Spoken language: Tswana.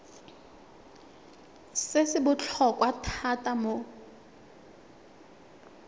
se se botlhokwa thata mo